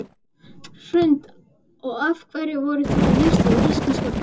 Hrund: Og af hverju voruð þið að lita íslenska fánann?